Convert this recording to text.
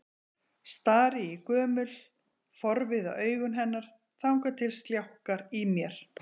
Stari í gömul, forviða augu hennar þangað til sljákkar í mér.